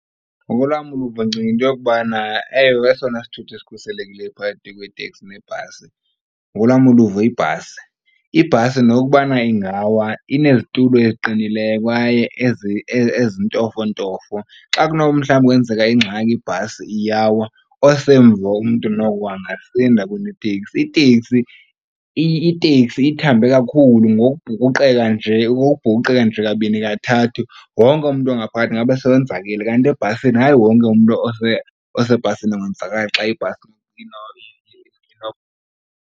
Ngokolwam uluvo ndicinga into yokubana, ewe, esona sithuthi sikhuselekileyo phakathi kweteksi nebhasi ngolwam uluvo yibhasi. Ibhasi nokubana ingawa inezitulo eziqinileyo kwaye ezintofontofo. Xa kunoba mhlawumbi kwenzeka ingxaki ibhasi iyawa osemva umntu noko angasinda kuneteksi. Iteksi ithambe kakhulu ngokubhukuqeka nje ngokubhukuqeka nje kabini kathathu wonke umntu ongaphakathi ingaba sewonzakele. Kanti ebhasini hayi wonke umntu osebhasini angonzakala xa ibhasi .